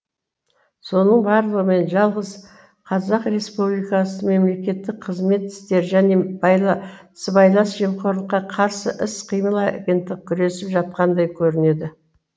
соның барлығымен жалғыз қазақ республикасы мемлекеттік қызмет істері және сыбайлас жемқорлыққа қарсы іс қимыл агенттігі күресіп жатқандай көрінеді